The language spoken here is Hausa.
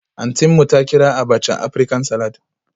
Auntynmu ta kira abacha Aprican-salad